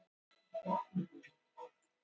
En þá gat hún engu svarað og varð rjóð af skömm.